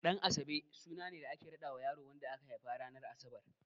Ɗan'asabe suna ne da ake raɗawa yaron da aka haifa ranar Asabar.